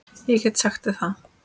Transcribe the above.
Ég get sagt þér það